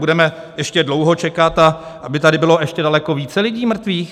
Budeme ještě dlouho čekat, a aby tady bylo ještě daleko více lidí mrtvých?